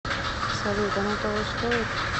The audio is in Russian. салют оно того стоит